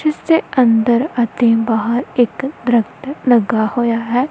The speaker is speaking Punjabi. ਜਿੱਸ ਦੇ ਅੰਦਰ ਅਤੇ ਬਾਹਰ ਇੱਕ ਦ੍ਰਖਤ ਲੱਗਾ ਹੋਯਾ ਹੈ।